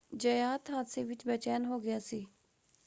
ਜ਼ਯਾਤ ਹਾਦਸੇ ਵਿੱਚ ਬੇਚੈਨ ਹੋ ਗਿਆ ਸੀ।